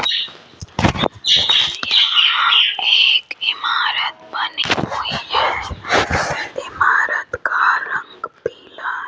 यहां एक इमारत बनी हुई है इमारत का रंग पीला --